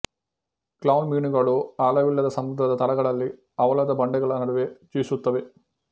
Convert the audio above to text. clown ಮೀನುಗಳು ಆಳವಿಲ್ಲದ ಸಮುದ್ರದ ತಳಗಳಲ್ಲಿ ಹವಳದ ಬಂಡೆಗಳ ನಡುವೆ ಜೀವಿಸುತ್ತವೆ